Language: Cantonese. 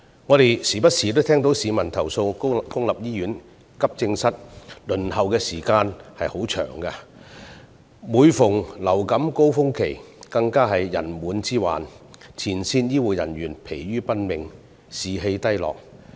我們不時都會聽到市民投訴公營醫院急症室的輪候時間太長，當遇上流感高峰期，更有人滿之患，前線醫護人員疲於奔命，士氣低落。